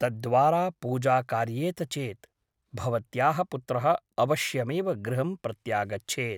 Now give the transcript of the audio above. तद्द्द्वारा पूजा कार्येत चेत् भवत्याः पुत्रः अवश्यमेव गृहं प्रत्यागच्छेत् ।